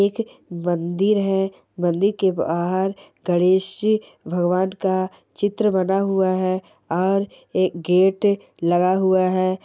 एक मंदिर है मंदिर के बाहर गणेश जी भगवान का चित्र बना हुआ है और एक गेट लगा हुआ है।